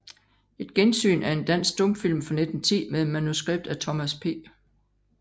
Et Gensyn er en dansk stumfilm fra 1910 med manuskript af Thomas P